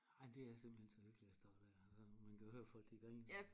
Ej det er simpelthen så lykkeligt at stå dér man kan høre folk de griner